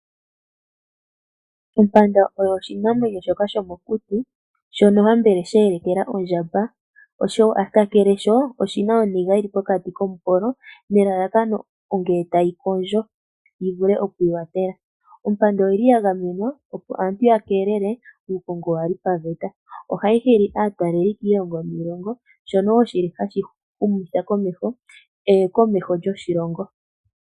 Ompanda oyo oshinamwenyo shoka shomokuti shono hambele sheelekela ondjamba, osho kakele sho oshina oniga yili pokati komupolo nelalakano ngele tayi kondjo yi vule okwiiwathela, ompanda oyili ya gamenwa opo aantu ya keelele uukongo waali paveta ohayi hili aatalelipo kiilongo niilongo shono wo shili hashi humitha komeho eyokomeho lyoshilongo.